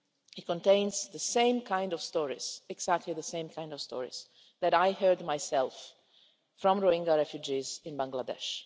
It contains the same kind of stories, exactly the same kind of stories, that I heard myself from Rohingya refugees in Bangladesh.